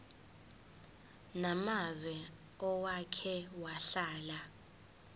namazwe owake wahlala